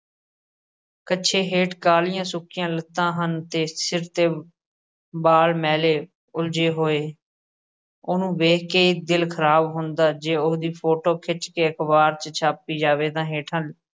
ਕੱਛੇ ਹੇਠ ਕਾਲ਼ੀਆਂ ਸੁੱਕੀਆਂ ਲੱਤਾਂ ਹਨ ਤੇ ਸਿਰ ਤੇ ਵਾਲ ਮੈਲੇ ਉਲਝੇ ਹੋਏ, ਉਹਨੂੰ ਵੇਖ ਕੇ ਹੀ ਦਿਲ ਖ਼ਰਾਬ ਹੁੰਦਾ, ਜੇ ਉਹਦੀ ਫੋਟੇ ਖਿੱਚ ਕੇ ਅਖ਼ਬਾਰ 'ਚ ਛਾਪੀ ਜਾਵੇ ਤਾਂ ਹੇਠਾਂ